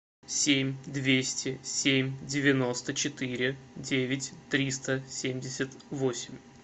семь двести семь девяносто четыре девять триста семьдесят восемь